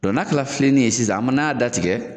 Dɔn n'a kɛla finennin ye sisan an man'a datigɛ